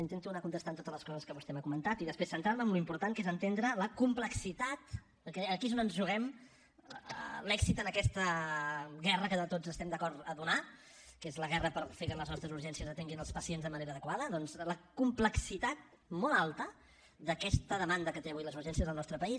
intento anar contestant totes les coses que vostè m’ha comentat i després centrar me en l’important que és entendre la complexitat perquè aquí és on ens juguem l’èxit en aquesta guerra que tots estem d’acord a donar que és la guerra per fer que les nostres urgències atenguin els pacients de manera adequada doncs la complexitat molt alta d’aquesta demanda que tenen avui les urgències al nostre país